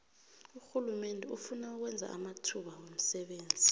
urhulumende ufuna ukwenza amathuba womsebenzi